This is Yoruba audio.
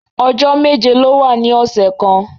Ọjọ́ méje ló wà ní ọ̀sẹ̀ kan